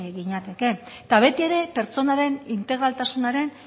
ginateke eta beti ere pertsonaren integraltasunaren